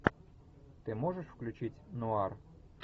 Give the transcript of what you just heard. ты можешь включить нуар